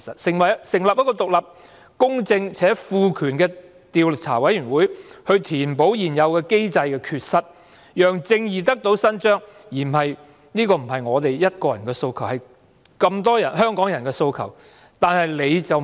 成立一個獨立、公正且賦權的調查委員會填補現有機制的缺失，讓正義得以伸張，不只是我一個人的訴求，而是眾多香港市民五大訴求的其中一項。